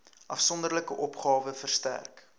afsonderlike opgawe verstrek